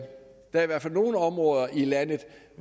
er i hvert fald nogle områder i landet